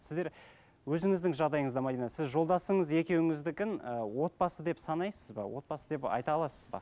сіздер өзіңіздің жағдайыңызда мәдина сіз жолдасыңыз екеуіңіздікін ы отбасы деп санайсыз ба отбасы деп айта аласыз ба